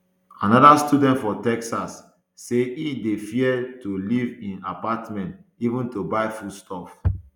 anoda student for texas say e dey fear to leave im apartment even to buy food stuff